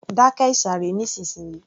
Dákẹ́ ìsàré nísìnsiyìí